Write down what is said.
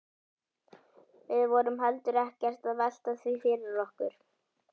Við vorum heldur ekkert að velta því fyrir okkur.